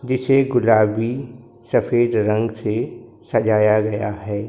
जिसे गुलाबी सफेद रंग से सजाया गया है।